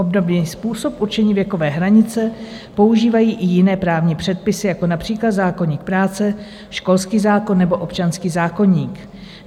Obdobný způsob určení věkové hranice používají i jiné právní předpisy, jako například zákoník práce, školský zákon nebo občanský zákoník.